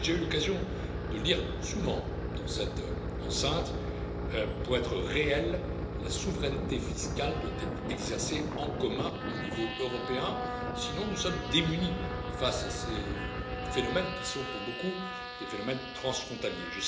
J'ai déjà eu souvent l'occasion de le dire dans cette enceinte pour être réelle, la souveraineté fiscale doit être exercée en commun, au niveau européen, sinon nous sommes démunis face à ces phénomènes qui sont pour beaucoup des phénomènes transfrontaliers.